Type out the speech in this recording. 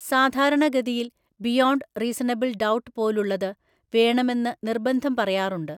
സാധാരണഗതിയിൽ beyond reasonable doubt പോലുള്ളത് വേണമെന്ന് നിര്‍ബന്ധം പറയാറുണ്ട്.